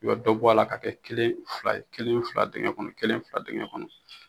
I bɛ dɔ bɔ a la ka kɛ kelen fila ye kelen fila ye dingɛn kɔnɔ kelen fila dengɛn kɔnɔ